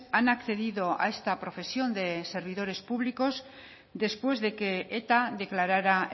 han accedido a esta profesión de servidores públicos después de que eta declarara